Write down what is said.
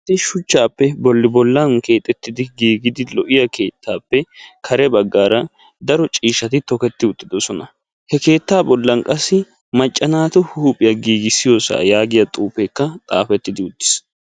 Shuchchaappe bolli bollan keexettidi giigidi lo'iya keettaappe kare baggaara daro ciishati toketi uttidosona. He keettaa bollan qassi macca naatu huuphiyaa giigisiyoosa yaagiyaa xuufeekka xaafetidi uttis.